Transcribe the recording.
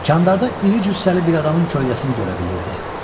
Koridorda iri cüssəli bir adamın kölgəsini görə bilirdi.